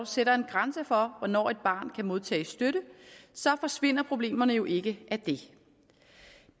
sætter en grænse for hvornår et barn kan modtage støtte så forsvinder problemerne jo ikke af det